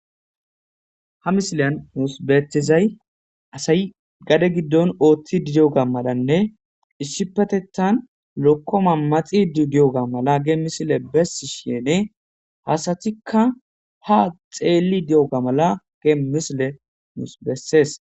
Ha misiliyan nus betizay asay gade gidon othid diyiga malanne issipetetan lokoma maxid diyoga mala hagey misiley besishn asatika ha xel diyoga mala ha misiley nus beses.